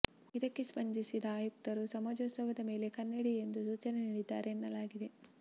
ಇದಕ್ಕೆ ಸ್ಪಂದಿಸಿದ ಆಯುಕ್ತರು ಸಮಾಜೋತ್ಸವದ ಮೇಲೆ ಕಣ್ಣಿಡಿ ಎಂದು ಸೂಚನೆ ನೀಡಿದ್ದಾರೆ ಎನ್ನಲಾಗಿದೆ